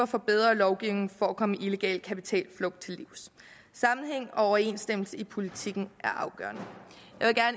for bedre lovgivning for at kunne komme illegal kapitalflugt til livs sammenhæng og overensstemmelse i politikken er afgørende